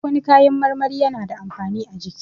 Duk wani kayan marmari yana da amfani a jiki